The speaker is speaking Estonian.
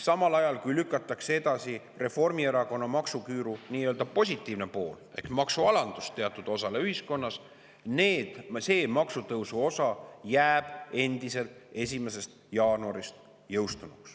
Samal ajal, kui lükatakse edasi Reformierakonna maksuküüru nii-öelda positiivne pool ehk maksualandus teatud osale ühiskonnast, jõustub maksutõusu osa endiselt 1. jaanuarist.